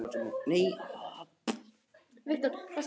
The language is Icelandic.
Mattías, slökktu á þessu eftir átján mínútur.